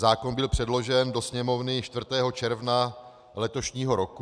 Zákon byl předložen do Sněmovny 4. června letošního roku.